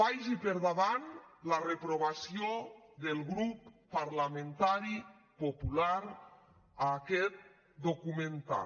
vagi per davant la reprovació del grup parlamentari popular a aquest documental